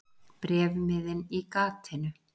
Bréfmiðinn í gatinu.